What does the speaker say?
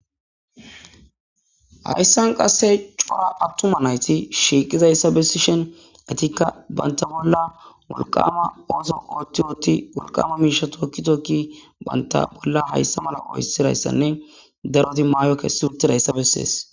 hayssan qasse cora abtuma nayti shiiqizayssa bessishen atikka banta bolla wulqama ooso qoottiooti wulqama miisha tookki tokki banta bolla hayssa mala oysirayssanne daroti maayo kessi wurtirayssa bessees